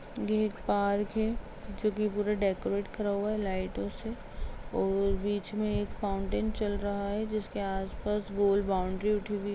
ये एक पार्क है जो की पूरा डेकोरेट करा हुआ है लाइटों से और बीच में एक फाउंटेन चल रहा है जिसके आस-पास गोल बॉउंड्री उठी हुई --